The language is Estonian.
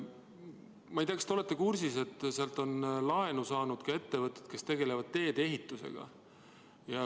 Ma ei tea, kas te olete kursis, et sealt on laenu saanud ka ettevõtted, kes tegelevad teedeehitusega.